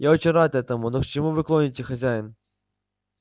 я очень рад этому но к чему вы клоните хозяин